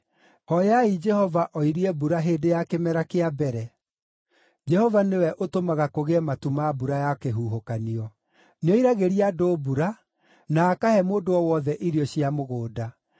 Hooyai Jehova oirie mbura hĩndĩ ya kĩmera kĩa mbere; Jehova nĩwe ũtũmaga kũgĩe matu ma mbura ya kĩhuhũkanio. Nĩoiragĩria andũ mbura, na akahe mũndũ o wothe irio cia mũgũnda.